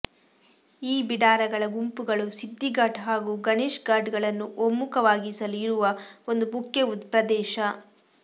ಈ ಬೀಡಾರಗಳ ಗುಂಪುಗಳು ಸಿದ್ದಿ ಘಾಟ್ ಹಾಗೂ ಗಣೇಶ್ ಘಾಟ್ಗಳನ್ನು ಒಮ್ಮುಖವಾಗಿಸಲು ಇರುವ ಒಂದು ಮುಖ್ಯ ಪ್ರದೇಶ